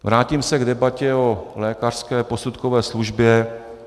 Vrátím se k debatě o lékařské posudkové službě.